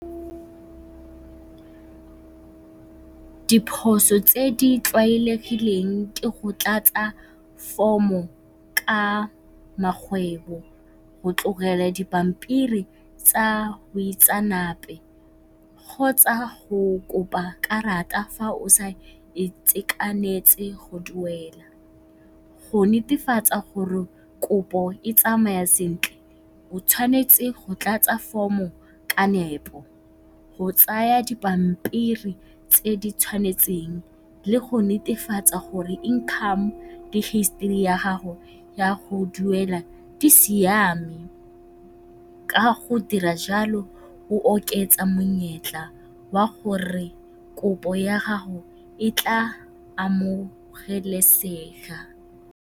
Diphoso tse di tlwaelegileng ke go tlatsa form-o ka magwebo, go tlogela dipampiri tsa boitseanape kgotsa go kopa karata fa o sa itekanetse go duela. Go netefatsa gore kopo e tsamaya sentle o tshwanetse go tlatsa form-o ka nepo, go tsaya dipampiri tse di tshwanetseng le go netefatsa gore income le history ya gago ya go duela e siame. Ka go dira jalo o oketsa monyetla wa gore kopo ya gago e tla amogelesega.